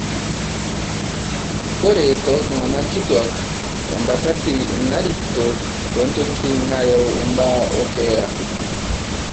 Ore tooltung'ana kituak, embatati narikito toontokitin naayau ilbaa o keeya.